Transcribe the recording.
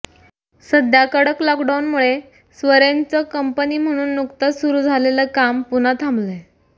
सध्या कडक लॉकडाउनमुळे स्वरेंजचं कंपनी म्हणून नुकतंच सुरू झालेलं काम पुन्हा थांबलंय